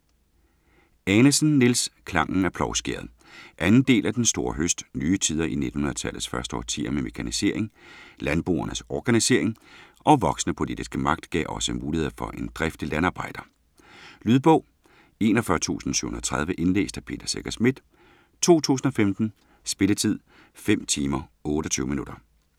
Anesen, Niels: Klangen af plovskæret 2. del af Den store høst. Nye tider i 1900-tallets første årtier med mekanisering, landboernes organisering og voksende politiske magt gav også muligheder for en driftig landarbejder. Lydbog 41730 Indlæst af Peter Secher Schmidt, 2015. Spilletid: 5 timer, 28 minutter.